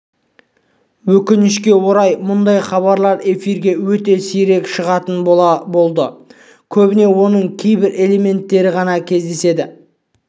өкінішке орай мұндай хабарлар эфирге өте сирек шығатын болды көбіне оның кейбір элементтері ғана кездеседі